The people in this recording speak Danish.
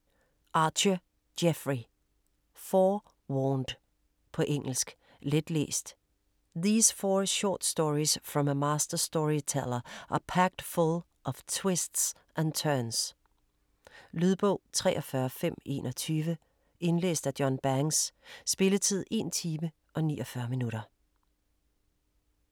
Archer, Jeffrey: Four warned På engelsk. Letlæst. These four short stories from a master storyteller are packed full of twists and turns. Lydbog 43521 Indlæst af John Banks Spilletid: 1 time, 49 minutter.